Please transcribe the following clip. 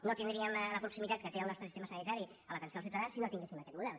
no tindríem la proximitat que té el nostre sistema sanitari a l’atenció als ciutadans si no tinguéssim aquest model